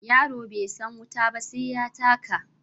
Yaro bai san wuta ba sai ya taka.